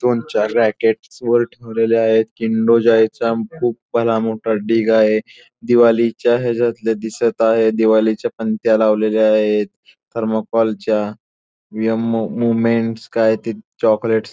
दोन चार रॅकेट्स वर ठेवलेले आहेत किंडर जॉय चा खूप भला मोठा ढीग आहे दिवाळीच्या हेज्यातलं दिसत आहे दिवाळीच्या पंत्या लावल्या आहेत थर्माकोल च्या या मुं मोमेंट्स काय चॉकलेट्स --